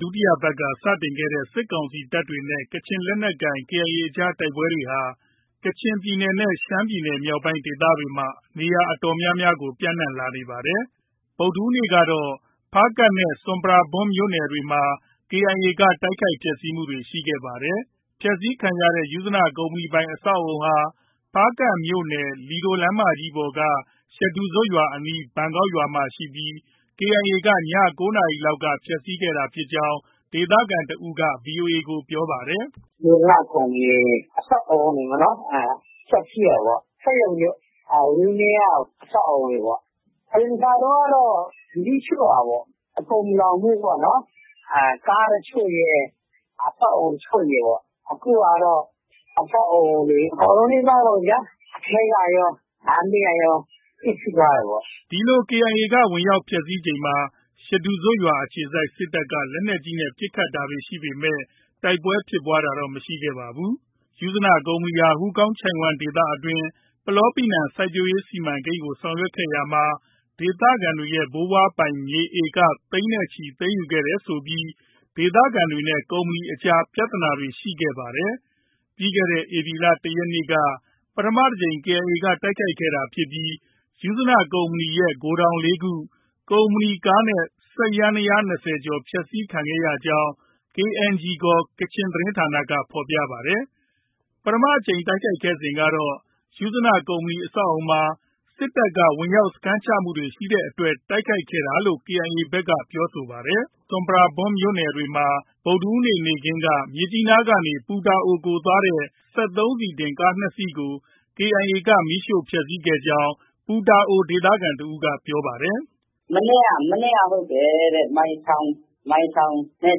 ဒုတိယပတ်က စတင်ခဲ့တဲ့ စစ်ကောင်စီတပ်တွေနဲ့ ကချင်လက်နက်ကိုင် KIA အကြား တိုက်ပွဲတွေဟာ ကချင်ပြည်နယ်နဲ့ ရှမ်းပြည်နယ်မြောက်ပိုင်းဒေသတွေမှာ နေရာအတော်များများကို ပျံ့နှံ့လာနေပါတယ်။ ဗုဒ္ဓဟူးနေ့ကတော့ ဖားကန့်နဲ့ ဆွမ်ပရာဘွမ်မြို့နယ်တွေမှာ KIA က တိုက်ခိုက်ဖျက်ဆီးမှုတွေ ရှိခဲ့ပါတယ်။ ဖျက်ဆီးခံရတဲ့ ယုဇနကုမ္ပဏီပိုင် အဆောက်အဦးဟာ ဖားကန့်မြို့နယ် လီဒိုလမ်းမကြီးပေါ်က ရှဒူဇွပ်ရွာအနီး ဘန်ကောက်ရွာမှာရှိပြီး KIA က ည ၉ နာရီလောက်က ဖျက်ဆီးခဲ့တာဖြစ်ကြောင်း ဒေသခံတစ်ဦးက ဗွီအိုအေကို ပြောပါတယ်။ “ယုဇနကုမ္ပဏီအဆောက်အဦးတွေ ဖျက်ဆီးတယ်ပေါ့။ စက်ရုံတွေ၊ ဝန်းထဲက အဆောက်အဦတွေပေါ့။ အရင် တစ်ခါတုန်းကတော့ မီးရှို့တာပေါ့။ အကုန်မလောင်ဘူးပေါ့နော်။ ကား တချို့ရယ် အဆောက်အဦး တချို့ရယ်ပေါ့။ အခုကတော့ အဆောက်အဦးတွေ အကုန်လုံးနီးပါးပေါ့ဗျာ။ အထဲကရော၊ လမ်းဘေးကရော ပျက်ဆီးသွားတယ်ပေါ့။” ဒီလို KIA က ဝင်ရောက် ဖျက်ဆီးချိန်မှာ ရှဒူဇွပ်အခြေစိုက် စစ်တပ်က လက်နက်ကြီးနဲ့ ပစ်ခတ်တာရှိပေမဲ့ တိုက်ပွဲဖြစ်ပွားတာတော့ မရှိခဲ့ပါဘူး။ ယုဇနကုမ္ပဏီဟာ ဟူးကောင်းချိုင့်ဝှမ်းဒေသအတွင်း ပလောပီနံစိုက်ပျိုးရေးစီမံကိန်းကို ဆောင်ရွက်ရာမှာ ဒေသခံတွေရဲ့ ဘိုးဘွားပိုင်မြေ ဧက သိန်းနဲ့ချီ သိမ်းယူခဲ့တယ်ဆိုပြီး ဒေသခံတွေနဲ့ ကုမ္ပဏီအကြားမှာ ပြဿနာတွေ ရှိခဲ့ပါတယ်။ ပြီးခဲ့တဲ့ ဧပြီလ ၁ ရက်နေ့က ပထမတစ်ကြိမ် KIA က တိုက်ခိုက်ခဲ့တာဖြစ်ပြီး ယုဇနကုမ္ပဏီရဲ့ ဂိုဒေါင် ၄ ခု၊ ကုမ္ပဏီကားနဲ့ စက်ယန္တယားယာဉ် ၂၀ ကျော် ဖျက်ဆီးခံခဲ့ရကြောင်း KNG ခေါ် ကချင်သတင်းဌာနက ဖော်ပြပါတယ်။ ပထမအကြိမ်တိုက်ခိုက်စဉ်ကတော့ ယုဇနကုမ္ပဏီ အဆောက်အဦးမှာ စစ်တပ်က ဝင်ရောက်စခန်းချမှု ရှိတဲ့အတွက် တိုက်ခိုက်ခဲ့တာလို့ KIA ဘက်က ပြောဆိုခဲ့ပါတယ်။ ဆွမ်ပရာဘွမ်မြို့နယ်အတွင်းမှာလည်း ဗုဒ္ဓဟူးနေ့ နေ့ခင်းက မြစ်ကြီးနားကနေ ပူတာအိုကို သွားတဲ့ စက်သုံးဆီတင်ကားနှစ်စီးကို KIA က မီးရှို့ဖျက်ဆီးခဲ့ကြောင်း ပူတာအိုဒေသခံတစ်ဦးက ပြောပါတယ်။ “မနေ့က ဟုတ်တယ်တဲ့။ မိုင်ထောင်နဲ့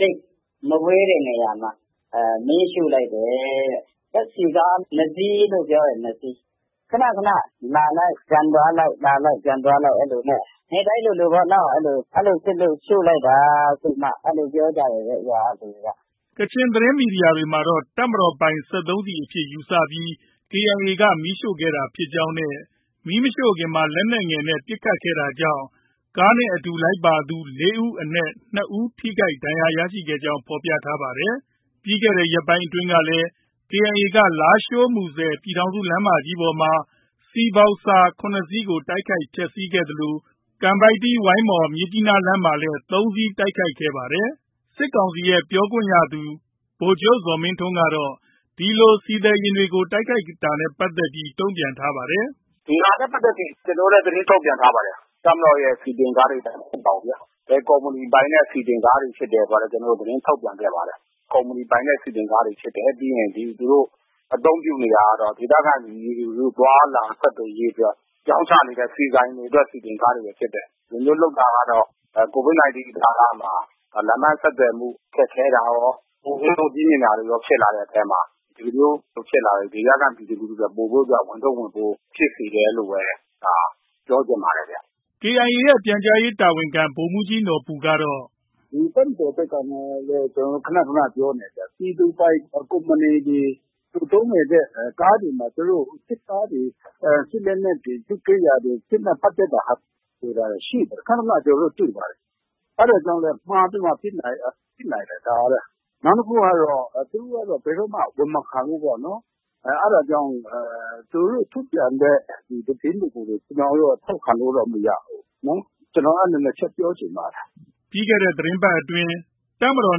သိပ်မဝေးတဲ့နေရာမှာ။ မီးရှို့လိုက်တယ်တဲ့။ ဓါတ်ဆီကား ၂ စီးလို့ ပြောတယ်။ ၂ စီး။ ခဏခဏ လာလိုက်၊ ပြန်သွားလိုက်၊ လာလိုက်၊ ပြန်သွားလိုက် အဲဒီလိုနဲ့ နေ့တိုင်းလိုလိုပေါ့နော်။ အဲဒီလို ဖြစ်လို့ ရှို့လိုက်တာဆိုပြီးမှ အဲဒီလိုပြောကြတယ်တဲ့ ရွာက လူတွေက။” ကချင်သတင်း မီဒီယာတွေမှာတော့ တပ်မတော်ပိုင် စက်သုံးဆီအဖြစ် ယူဆပြီး KIA က မီးရှို့ခဲ့တာဖြစ်ကြောင်းနဲ့ မီးမရှို့ခင်မှာ လက်နက်ငယ်နဲ့ ပစ်ခတ်ခဲ့တာကြောင့် ကားနဲ့အတူလိုက်ပါလာသူ ၄ ဦးအနက်၂ ဦး ထိခိုက်ဒဏ်ရာရခဲ့ကြောင်း ဖော်ပြပါတယ်။ ပြီးခဲ့တဲ့ ရက်ပိုင်းတွေကလည်း KIA က လားရှိုး - မူဆယ် ပြည်ထောင်စုလမ်းမကြီးပေါ်မှာ ဆီဘောက်ဆာ ၇ စီးကို တိုက်ခိုက်ဖျက်ဆီးခဲ့သလို ကန်ပိုက်တီး - ဝိုင်းမော်- မြစ်ကြီးနားလမ်းမှာလည်း ၃ စီး တိုက်ခိုက်ခဲ့ပါတယ်။ စစ်ကောင်စီရဲ့ ပြောရေးဆိုခွင့်ရှိသူ ဗိုလ်ချုပ် ဇော်မင်းထွန်းကတော့ ဒီလို ဆီသယ်ယာဉ်တွေကို တိုက်ခိုက်နေတာနဲ့ ပတ်သက်ပြီး တုံ့ပြန်ထားပါတယ်။ “ဒီဟာနဲ့ ပတ်သက်ပြီး ကျနော်တို့လည်း သတင်းထုတ်ပြန်ထားတာ ရှိတယ်။ တပ်မတော်ရဲ့ ဆီတင်ကားတွေ မဟုတ်ပါဘူးဗျာ။ ဘယ်ကုမ္ပဏီပိုင်တဲ့ ဆီတင်ကားတွေ ဖြစ်တယ်ဆိုတာလည်း ကျနော်တို့ သတင်းထုတ်ပြန်ခဲ့ပါတယ်။ ကုမ္ပဏီပိုင်တဲ့ ဆီတင်ကားတွေ ဖြစ်တယ်။ ပြီးရင်သူတို့ အသုံးပြုနေတာကတော့ ဒေသခံပြည်သူ လူထုသွားလာ ဆက်သွယ်ရေးအတွက် ရောင်းချနေတဲ့ ဆီဆိုင်တွေရဲ့ ဆီတင်ကားတွေပဲ ဖြစ်တယ်။ ဒီလိုမျိုးလုပ်တာ ကတော့ COVID 19 ကာလမှာ လမ်းပန်းဆက်သွယ်မှု ခက်ခဲတာရော၊ ကုန်ဈေးနှုန်းကြီးမြင့်တာတွေရော ဖြစ်လာတဲ့အထဲမှာ ဒီလိုမျိုးဖြစ်လာတဲ့အတွက် ဒေသခံပြည်သူလူထုတွေ အတွက် ပိုပြီးတော့မှာ ဝန်ထုပ်ဝန်ပိုး ဖြစ်စေတယ်လို့ပဲ ပြောချင်ပါတယ်။” KIA ရဲ့ ပြန်ကြားရေးတာဝန်ခံ ဗိုလ်မှုးကြီး နော်ဘူကတော့- “ ဒီတပ်မတော်ဘက်ကနဲ့လည်း ကျနော်တို့ ခဏခဏ ပြောနေတယ်။ ပြည်သူပိုင် ကုမ္ပဏီတွေ၊ သူသုံးနေတဲ့ ကားတွေမှာ စစ်သားတွေ၊ စစ်လက်နက်တွေ၊ စစ်ကိရိယာတွေ၊ စစ်နဲ့ ပတ်သက်တဲ့ဟာတွေ သယ်တာ ရှိပါတယ်။ ခဏခဏ ကျနော်တို့ တွေ့ပါတယ်။ အဲဒါကြောင့်လည်း မှားပြီးမှ ပစ်နိုင်တယ် ဒါကလည်း။ နောက်တစ်ခုကတော့ သူတို့က ဘယ်တော့မှ ဝန်မခံဘူးပေါ့နော်။ အဲဒါကြောင့် သူတို့ ထုတ်ပြန်တဲ့ သတင်းတွေကို ကျနော်တို့က ထောက်ခံလို့တော့ မရဘူးနော်။ ကျနော် အဲဒီ ၂ ချက် ပြောချင်ပါတယ်။” ပြီးခဲ့တဲ့ သီတင်းပတ်အတွင်း တပ်မတော်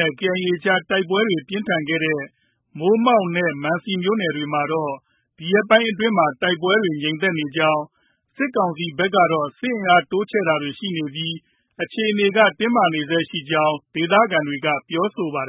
နဲ့ KIA အကြားမှာ တိုက်ပွဲပြင်းထန်ခဲ့တဲ့ မိုးမောက်နဲ့ မန်စီမြို့နယ်တွေမှာတော့ ဒီရက်ပိုင်းအတွင်းမှာ တိုက်ပွဲတွေ ငြိမ်သက်နေကြောင်း၊ စစ်ကောင်စီဘက်ကတော့ စစ်အင်အား တိုးချဲ့တာတွေ ရှိနေပြီး အခြေအနေက တင်းမာနေဆဲ ရှိနေကြောင်း ဒေသခံတွေက ပြောပါတယ်